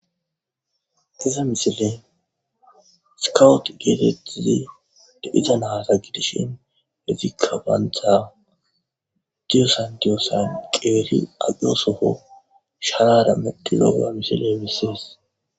Ha misile sikowuet geetetizi de iza nahata gidishin hezi kabantha diyosan diyossan qeeri aqiyosofo sharara meddizooa misile emisees